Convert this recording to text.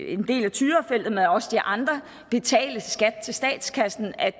en del af tyrafeltet men også de andre betale skat til staten af